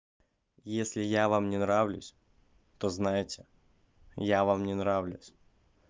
если я вам не нравлюсь то знайте я вам не нравлюсь